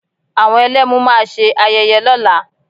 Àwọn Ẹlẹ́mu máa ṣe ayẹyẹ lọ́la